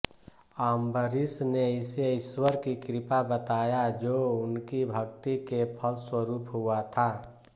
अम्बरीश ने इसे ईश्वर की कृपा बताया जो उनकी भक्ति के फलस्वरूप हुआ था